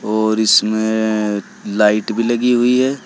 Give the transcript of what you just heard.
और इसमें लाइट भी लगी हुई है।